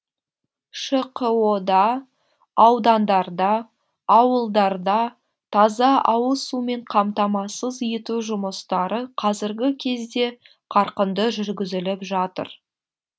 шқо да аудандарда ауылдарда таза ауыз сумен қамтамасыз ету жұмыстары қазіргі кезде қарқынды жүргізіліп жатыр